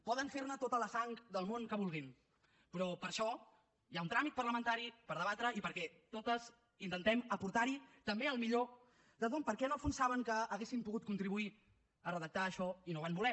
poden fer ne tota la sang del món que vulguin però per això hi ha un tràmit parlamentari per debatre i perquè totes intentem aportar hi també el millor de tothom perquè en el fons saben que haurien pogut contribuir a redactar això i no van voler